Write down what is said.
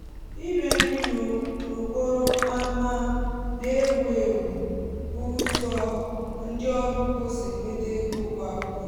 ịre nri n'okporo ámá n'ewù èwù bụ ụzọ ndị ọrụ ugbo si enweta ego kwa ụbọchị.